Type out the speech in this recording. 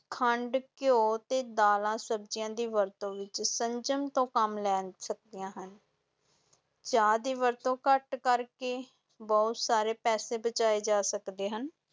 ਖੰਡ, ਘਿਓ ਤੇ ਦਾਲਾਂ-ਸਬਜ਼ੀਆਂ ਦੀ ਵਰਤੋਂ ਵਿੱਚ ਸੰਜਮ ਤੋਂ ਕੰਮ ਲੈ ਸਕਦੀਆਂ ਹਨ ਚਾਹ ਦੀ ਵਰਤੋਂ ਘੱਟ ਕਰਕੇ, ਬਹੁਤ ਸਾਰੇ ਪੈਸੇ ਬਚਾਏ ਜਾ ਸਕਦੇ ਹਨ।